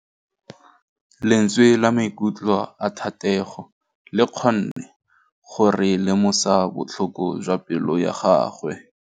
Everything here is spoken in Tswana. Lentswe la maikutlo a Thategô le kgonne gore re lemosa botlhoko jwa pelô ya gagwe.